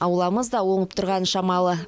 ауламыз да оңып тұрғаны шамалы